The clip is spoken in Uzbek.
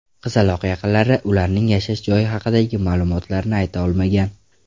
Qizaloq yaqinlari, ularning yashash joyi haqidagi ma’lumotlarni ayta olmagan.